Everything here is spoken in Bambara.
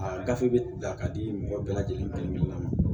A gafe bɛ ye a ka di mɔgɔ bɛɛ lajɛlen kelen kelenna ma